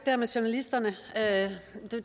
der med journalisterne